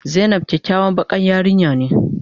Zainab kyakyawan bakan yarinya ne.